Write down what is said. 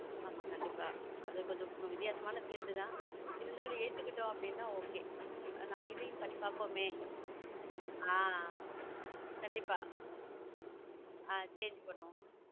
ஆமா கண்டிப்பா அது கொஞ்சம் வித்தியாசமான field இருந்தாலும் ஏத்துக்கிட்டோம் அப்படின்னா okay நம்ம இதையும் பண்ணி பாப்போமே ஆஹ் கண்டிப்பா ஆஹ் பண்ணுவோம்